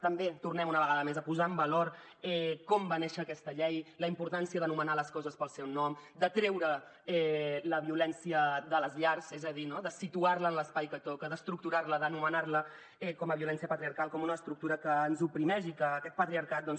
també tornem una vegada més a posar en valor com va néixer aquesta llei la importància d’anomenar les coses pel seu nom de treure la violència de les llars és a dir no de situar la en l’espai que toca d’estructurar la d’anomenar la com a violència patriarcal com una estructura que ens oprimeix i que aquest patriarcat doncs